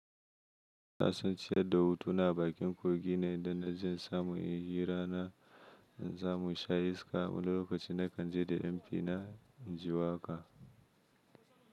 Nasan ci yadda hutuna bakin kogi ne don najin samu ihira na zamu sha iska wani lokaci na kanje da m.p na inji waka.